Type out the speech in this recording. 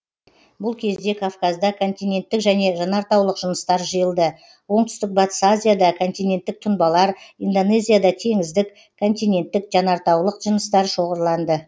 бұл кезде кавказда континенттік және жанартаулық жыныстар жиылды оңтүстік батыс азияда континенттік тұнбалар индонезияда теңіздік континенттік жанартаулық жыныстар шоғырланды